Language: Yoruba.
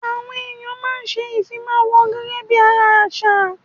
Àwọn ẹ̀yà máa ń ṣe ìfimáwọ̀ gẹ́gẹ́ bí ara àṣà